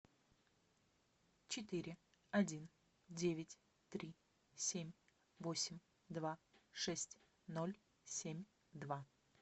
четыре один девять три семь восемь два шесть ноль семь два